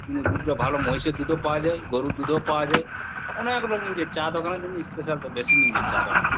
উম- দুধটা ভালো মহিষের দুধও পাওয়া যায় গরুর দুধও পাওয়া যায় অনেক লোক যে চা দোকানের জন্য স্পেশাল তো বেশি নিয়ে যায় চা দোকানের।